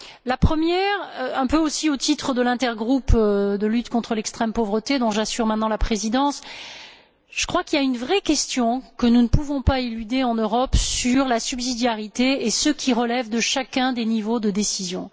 La première, un peu aussi au titre de l'intergroupe Lutte contre l'extrême pauvreté, dont j'assure maintenant la présidence je crois qu'il y a une vraie question que nous ne pouvons pas éluder en Europe sur la subsidiarité et ce qui relève de chacun des niveaux de décision.